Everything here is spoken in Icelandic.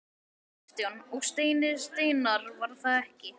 Kristján: Og Steini Steinarr var það ekki?